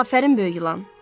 Afərin böyük ilan.